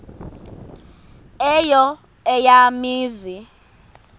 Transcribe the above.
eyo eya mizi